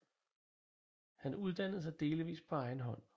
Han uddannede sig delvis på egen hånd